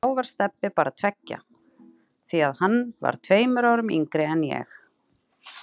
Þá var Stebbi bara tveggja, því að hann var tveimur árum yngri en ég.